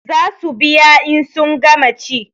Za su biya in sun gama ci